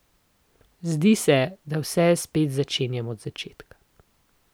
Zdi se, da vse spet začenjam od začetka.